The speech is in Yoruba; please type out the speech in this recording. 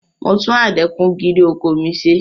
Mo tún adẹ́kun-gìrì ọkọ̀ mi ṣe.